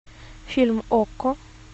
фильм окко